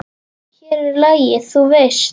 Hér er lagið, þú veist!